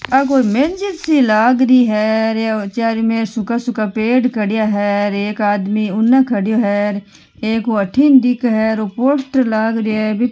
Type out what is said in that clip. आ कोई मेंजिस सी लाग री है और चारु मेर सूखा सूखा पेड़ खड्या हे र एक आदमी उनने खड्यो हे र एक हु अट्ठिन दिखे है ओ पोस्टर लाग रियो है।